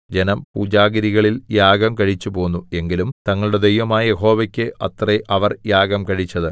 ജനം പൂജാഗിരികളിൽ യാഗം കഴിച്ചുപോന്നു എങ്കിലും തങ്ങളുടെ ദൈവമായ യഹോവയ്ക്ക് അത്രേ അവർ യാഗം കഴിച്ചത്